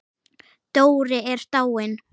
Dóri er dáinn.